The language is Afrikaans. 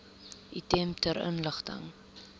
item ter inligting